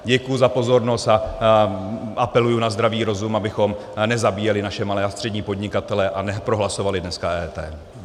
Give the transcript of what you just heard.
Děkuji za pozornost a apeluji na zdravý rozum, abychom nezabíjeli naše malé a střední podnikatele a neprohlasovali dneska EET.